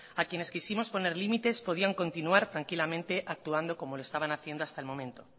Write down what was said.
a quienes quisimos poner límites podían continuar tranquilamente actuando como lo estaban haciendo hasta el momento